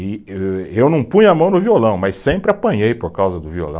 E e, eu não punha a mão no violão, mas sempre apanhei por causa do violão.